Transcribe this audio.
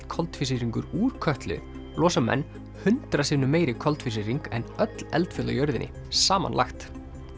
koltvísýringur úr Kötlu losa menn hundrað sinnum meiri koltvísýring en öll eldfjöll á jörðinni samanlagt